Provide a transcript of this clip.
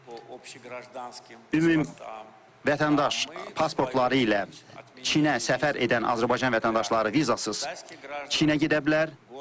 Ümumi vətəndaş pasportları ilə Çinə səfər edən Azərbaycan vətəndaşları vizasız Çinə gedə bilər.